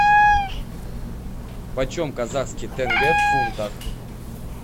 почем казахский тенге в фунтах